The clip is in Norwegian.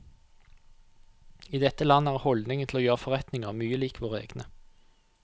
I dette landet er holdningen til å gjøre forretninger mye lik våre egne.